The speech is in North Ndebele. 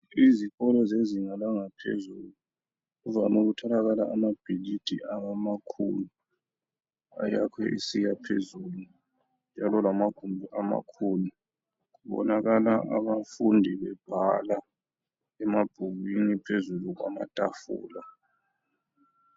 Izikolo zezinga langaphezulu kuvame ukutholakala amabhilidi amakhulu ayakhwe esiya phezulu lamawindi amakhulu, kubonakala abafundi bebhala emabhukwini phezulu kwamatafula.